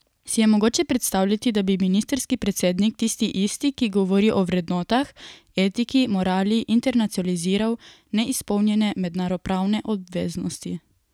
Si je mogoče predstavljati, da bi ministrski predsednik, tisti isti, ki govori o vrednotah, etiki, morali, internacionaliziral neizpolnjene mednarodnopravne obveznosti?